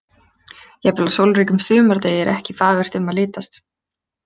Jafnvel á sólríkum sumardegi er ekki fagurt um að litast.